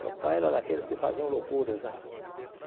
Meu pai era daqueles que faziam loucuras lá.